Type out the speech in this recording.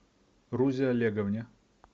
рузе олеговне